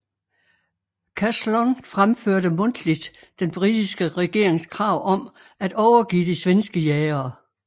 Caslon fremførte mundtligt den britiske regerings krav om at overgive de svenske jagere